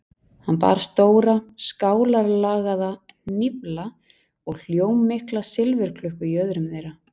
Hann bar stóra, skálarlagaða hnýfla og hljómmikla silfurklukku í öðrum þeirra.